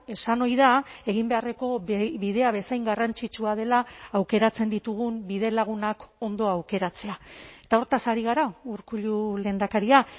esan ohi da egin beharreko bidea bezain garrantzitsua dela aukeratzen ditugun bidelagunak ondo aukeratzea eta horretaz ari gara urkullu lehendakaria